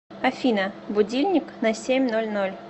афина будильник на семь ноль ноль